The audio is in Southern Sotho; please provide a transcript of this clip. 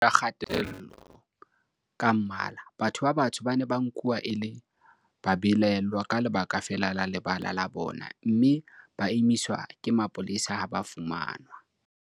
Ka tlasa puso ya kgethollo ka mmala, batho ba batsho ba ne ba nkuwa e le babelaellwa ka lebaka feela la lebala la bona, mme ba emiswa ke mapolesa ha ba fumanwa